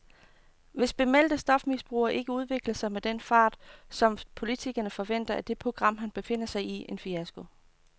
Hvis bemeldte stofmisbrugere ikke udvikler sig med den fart, som politikerne forventer, er det program, han befinder sig i, en fiasko.